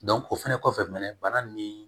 o fɛnɛ kɔfɛ mɛɛn bana nin